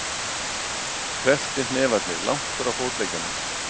Krepptir hnefarnir langt frá fótleggjunum.